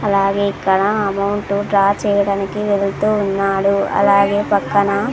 అలాగే ఇక్కడ amount draw చెయ్యడానికి వెళ్తూ ఉన్నాడు అలాగే పక్కనా --